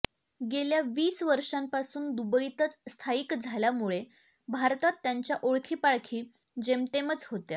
गेल्या वीस वर्षापासून दुबईतच स्थायिक झाल्यामुळे भारतात त्यांच्या ओळखीपाळखी जेमतेमच होत्या